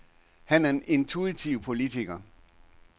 Han er en intuitiv politiker.